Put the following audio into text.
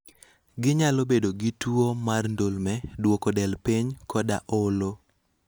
Ginyalo bedo gi tuwo mar ndulme, duoko del piny, koda olo.